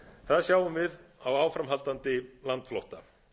það sjáum við á áframhaldandi landflótta